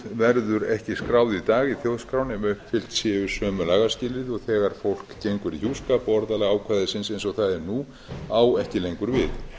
verður ekki skráð í dag í þjóðskrá nema uppfyllt séu sömu lagaskilyrði og þegar fólk gengur í hjúskap og orðalag ákvæðinu eins og það er nú á ekki lengur við